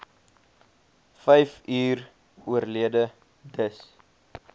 vyfuur oorlede dis